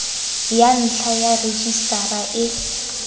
ya ntlha ya rejisetara e